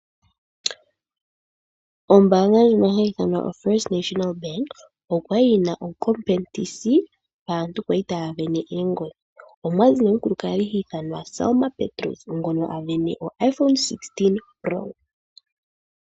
Ombaanga ndjono hayi ithanwa oFirst National Bank oya li yi na ethigathano, aantu oya li taya isindanene oongodhi, omwa zi nee omukukadhi hi ithanwa Selma Petrus, ngono a sindana IPhone 16 Pro.